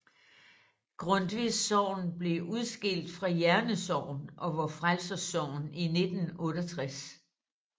Grundtvigs Sogn blev udskilt fra Jerne Sogn og Vor Frelsers Sogn i 1968